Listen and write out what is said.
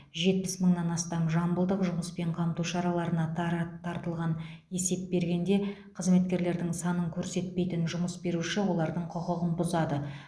жетпіс мыңнан астам жамбылдық жұмыспен қамту шараларына дара тартылған есеп бергенде қызметкерлердің санын көрсетпейтін жұмыс беруші олардың құқығын бұзады